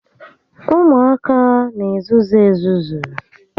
Ụmụaka n'ezuzu ezuzu